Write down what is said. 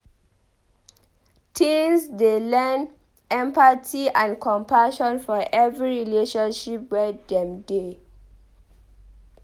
Teens dey learn empathy and compassion for every relationship wey dem dey.